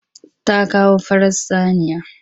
Ta kawo farar saniya.